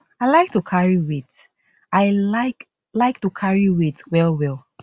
i like to carry weight i like like to carry weight wellwell